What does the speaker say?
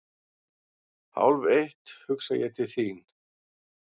Hálfeitt hugsa ég til þín.